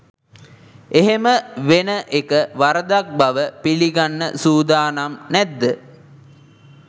එහෙම වෙන එක වරදක් බව පිළිගන්න සූදානම් නැද්ද?